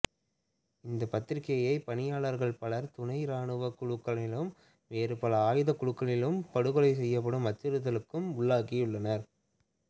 இப்பத்திரிகைப் பணியாளர்கள் பலர் துணை இராணுவக் குழுக்களினாலும் வேறு பல ஆயுதக்குழுக்களினாலும் படுகொலை செய்யப்பட்டும் அச்சுறுத்தலுக்கும் உள்ளாகியுள்ளனர்